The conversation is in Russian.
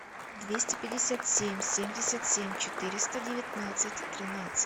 двести пятьдесят семь семьдесят семь четыреста девятнадцать тринадцать